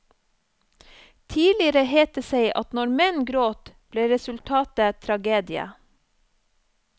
Tidligere het det seg at når menn gråt, ble resultatet tragedie.